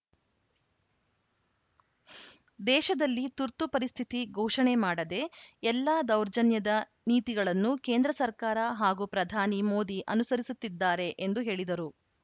ದೇಶದಲ್ಲಿ ತುರ್ತು ಪರಿಸ್ಥಿತಿ ಘೋಷಣೆ ಮಾಡದೆ ಎಲ್ಲ ದೌರ್ಜನ್ಯದ ನೀತಿಗಳನ್ನು ಕೇಂದ್ರ ಸರ್ಕಾರ ಹಾಗೂ ಪ್ರಧಾನಿ ಮೋದಿ ಅನುಸರಿಸುತ್ತಿದ್ದಾರೆ ಎಂದು ಹೇಳಿದರು